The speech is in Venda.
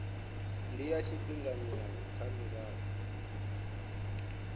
ndi ya tshifhinganyana kha mirado